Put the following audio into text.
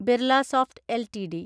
Birlasoft LTD